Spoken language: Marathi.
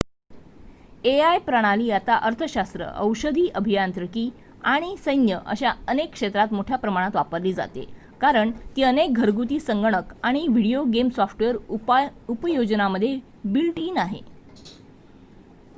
एआय प्रणाली आता अर्थशास्त्र औषधी अभियांत्रिकी आणि सैन्य अशा अनेक क्षेत्रात मोठ्या प्रमाणात वापरली जाते कारण ती अनेक घरगुती संगणक आणि व्हिडीओ गेम सॉफ्टवेअर उपयोजनामध्ये बिल्ट इन आहे